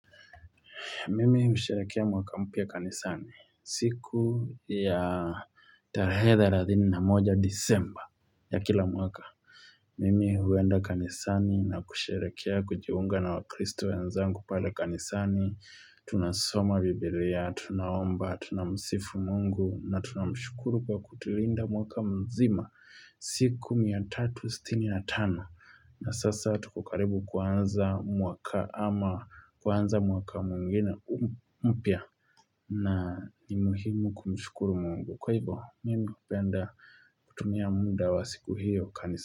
Mimi mhusherekea mwaka mpya kanisani siku ya tarehe thelathini na moja disemba ya kila mwaka. Mimi huenda kanisani na kusherekea kujiunga na wakristo ya wenzangu pale kanisani. Tunasoma biblia, tunaomba, tuna msifu mungu na tuna mshukuru kwa kutulinda mwaka mzima siku miatatu sitini na tano. Na sasa tukokaribu kuanza mwaka ama kuanza mwaka mwingine mpya na ni muhimu kumshukuru mungu Kwa hivyo mimi hupenda kutumia muda wa siku hiyo kanisa.